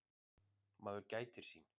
Maður gætir sín.